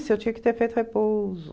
eu tinha que ter feito repouso.